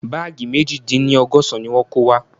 Báàgì meji dín ní ọgọ́sán ni wọ́n kó wá